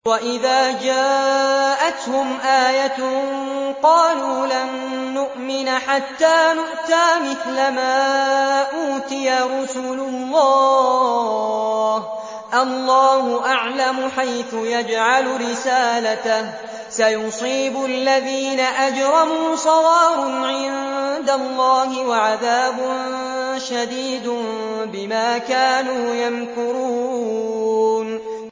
وَإِذَا جَاءَتْهُمْ آيَةٌ قَالُوا لَن نُّؤْمِنَ حَتَّىٰ نُؤْتَىٰ مِثْلَ مَا أُوتِيَ رُسُلُ اللَّهِ ۘ اللَّهُ أَعْلَمُ حَيْثُ يَجْعَلُ رِسَالَتَهُ ۗ سَيُصِيبُ الَّذِينَ أَجْرَمُوا صَغَارٌ عِندَ اللَّهِ وَعَذَابٌ شَدِيدٌ بِمَا كَانُوا يَمْكُرُونَ